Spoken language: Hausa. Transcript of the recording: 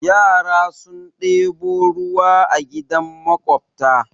Yara sun ɗebo ruwa a gidan maƙwabta.